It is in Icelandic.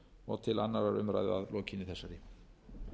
og til annarrar umræðu að lokinni þessari